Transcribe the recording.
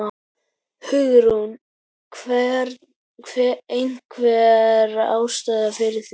Hugrún: Einhver ástæða fyrir því?